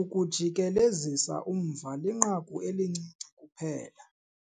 ukujikelezisa umva linqaku elincinci kuphela.